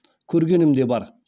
көргенім де бар